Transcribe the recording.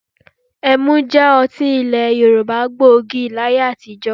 Ẹmu jẹ́ ọtí ilẹ̀ Yorùbá gbòógì láyé àtijọ́